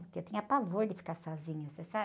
Porque eu tinha pavor de ficar sozinha, você sabe?